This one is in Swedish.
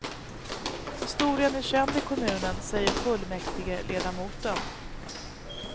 Historien är känd i kommunen, säger fullmäktigeledamoten.